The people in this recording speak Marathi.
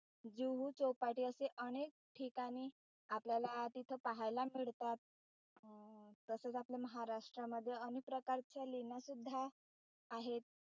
जुहू चौपाटी असे अनेक ठिकाणी आपल्याला तिथं पाहायला मिळतात अं तसेच आपल्या महाराष्ट्रामध्ये अनेक प्रकारच्या लेण्या सुद्धा आहेत.